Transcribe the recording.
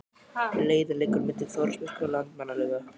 Leiðin liggur milli Þórsmerkur og Landmannalauga.